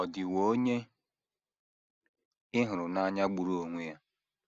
Ọ̀ Dịwo Onye Ị Hụrụ n’Anya Gburu Onwe Ya?